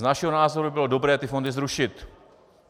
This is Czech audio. Z našeho názoru by bylo dobré ty fondy zrušit.